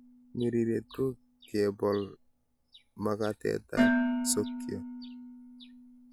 Ng'iriret ko kebol makatetab sokiot.